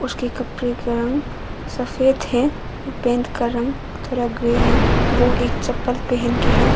उसके कपड़े का रंग सफेद है और पेंट का रंग थोड़ा ग्रे है वो एक चप्पल पहन के है।